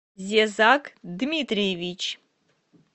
зезаг дмитриевич